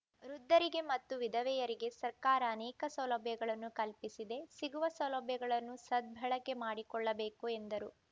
ವೃದ್ಧರಿಗೆ ಮತ್ತು ವಿಧವೆಯರಿಗೆ ಸರ್ಕಾರ ಅನೇಕ ಸೌಲಭ್ಯಗಳನ್ನು ಕಲ್ಪಿಸಿದೆ ಸಿಗುವ ಸೌಲಭ್ಯಗಳನ್ನು ಸದ್ಬಳಕೆ ಮಾಡಿಕೊಳ್ಳಬೇಕು ಎಂದರು